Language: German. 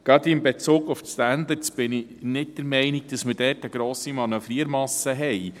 Gerade in Bezug auf die Standards bin ich nicht der Meinung, dass wir dort eine grosse Manövriermasse haben.